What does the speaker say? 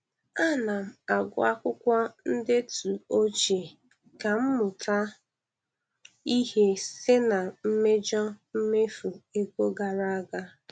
A na m agụ akwụkwọ ndetu ochie ka m mụta ihe site na mmejọ mmefu ego gara aga